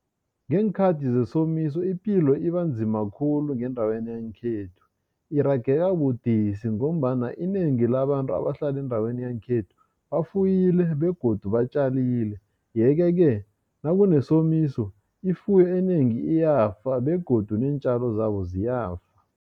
Ngeenkhathi zesomiso ipilo ibanzima khulu, ngendaweni yangekhethu. Irageka budisi, ngombana inengi labantu abahlala endaweni yangekhethu bafuyile, begodu batjalile. Yeke-ke, nakunesomiso, ifuyo enengi iyafa, begodu neentjalo zabo ziyafa.